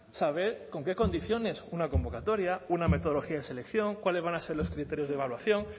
saber con qué condiciones una convocatoria una metodología de selección cuáles van a ser los criterios de evaluación